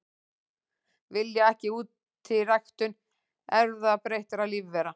Vilja ekki útiræktun erfðabreyttra lífvera